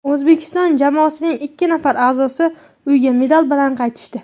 O‘zbekiston jamoasining ikki nafar a’zosi uyga medal bilan qaytishdi.